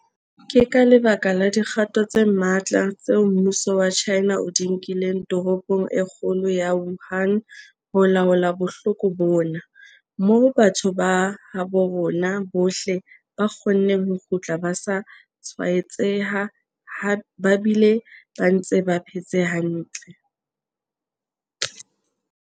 Ke ka lebaka la dikgato tse matla tseo mmuso wa China o di nkileng toropong e kgolo ya Wuhan ho laola bohloko bona, moo batho ba habo rona bohle ba kgonneng ho kgutla ba sa tshwaetseha ba bile ba ntse ba phetse hantle.